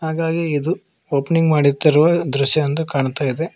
ಹಾಗಾಗಿ ಇದು ಓಪನಿಂಗ್ ಮಾಡುತ್ತಿರುವ ದೃಶ್ಯ ಎಂದು ಕಾಣ್ತಾ ಇದೆ.